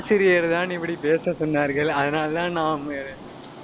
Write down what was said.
ஆசிரியர்தான், இப்படி பேச சொன்னார்கள். அதனாலதான் நாம்